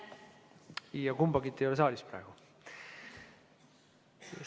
Ja kumbagi ei ole praegu saalis.